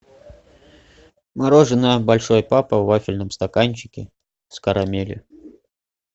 мороженое большой папа в вафельном стаканчике с карамелью